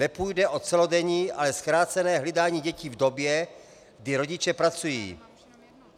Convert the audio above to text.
Nepůjde o celodenní, ale zkrácené hlídání dětí v době, kdy rodiče pracují.